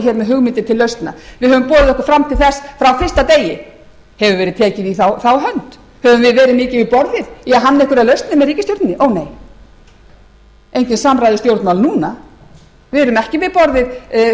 hér með hugmyndir til lausnar við höfum boðið okkur fram til þess frá fyrsta degi hefur verið tekið í þá hönd höfum við verið mikið við borðið í að hanna einhverjar lausnir með ríkisstjórninni ónei engin samræðustjórnmál núna við erum ekki við borðið stjórnarandstöðuflokkarnir